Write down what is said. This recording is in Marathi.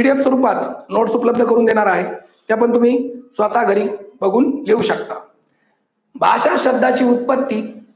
PDF स्वरूपात नोट्स उपलब्ध करून देणार आहे. त्या पण तुम्ही स्वतः घरी बघून घेऊ शकता. भाषा शब्दाची उत्पत्ती